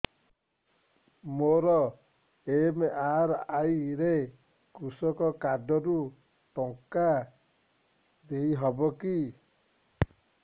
ମୋର ଏମ.ଆର.ଆଇ ରେ କୃଷକ କାର୍ଡ ରୁ ଟଙ୍କା ଦେଇ ହବ କି